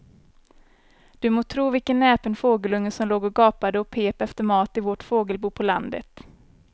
Du må tro vilken näpen fågelunge som låg och gapade och pep efter mat i vårt fågelbo på landet.